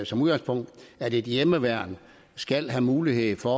som udgangspunkt at et hjemmeværn skal have mulighed for